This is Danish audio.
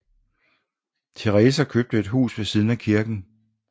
Teresa købte et hus ved siden af kirken